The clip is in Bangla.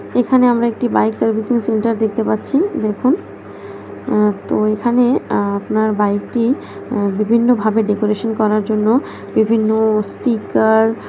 এখানে আমরা একটি বাইক সার্ভিসিং সেন্টার দেখতে পাচ্ছি দেখুন আ তো এখানে আপনার বাইকটি আ বিভিন্নভাবে ডেকোরেশন করার জন্য বিভিন্ন স্টিকার --